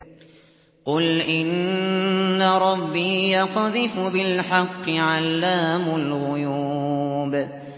قُلْ إِنَّ رَبِّي يَقْذِفُ بِالْحَقِّ عَلَّامُ الْغُيُوبِ